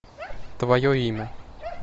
твое имя